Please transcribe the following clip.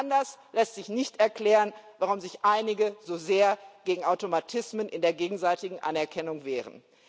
Anders lässt sich nicht erklären, warum sich einige so sehr gegen Automatismen in der gegenseitigen Anerkennung wehren.